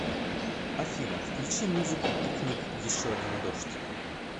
афина включи музыку пикник еще один дождь